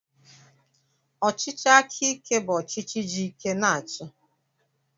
Ọchịchị aka ike bụ ọchịchị ji ike na-achị.